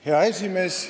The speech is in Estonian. Hea esimees!